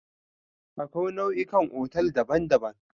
Akwai nau'ikan otal daban-daban.